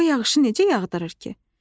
O yağışı necə yağdırır ki?